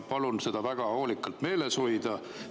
Palun seda väga hoolikalt meeles hoida.